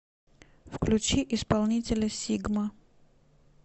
включи исполнителя сигма